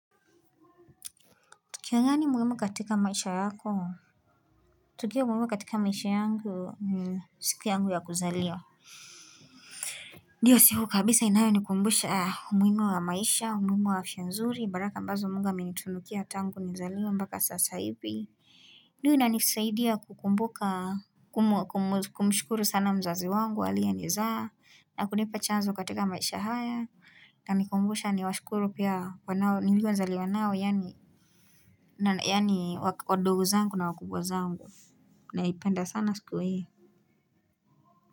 Tukio gani muhimu katika maisha yako? Tukio muhimu katika maisha yangu ni siku yangu ya kuzaliwa. Ndiyo siku kabisa inayonikumbusha umuhimu wa maisha, umuhimu wa afya nzuri, baraka ambazo Mungu amenitunukia tangu nizaliwe mbaka sasa hivi. Ndiyo inanisaidia kukumbuka kumshukuru sana mzazi wangu aliyenizaa na kunipa chanzo katika maisha haya na kunikumbusha ni washukuru pia wanao niliozaliwa nao yaani yaani wadogo zangu na wakubwa zangu naipenda sana siku hii.